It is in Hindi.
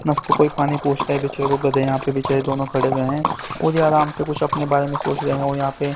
आपको की पानी पूछता है बेचारे दोनों यहां पर खड़े हुए हैं और आराम से कुछ अपने बारे में सोच रहे हैं और यहां पे--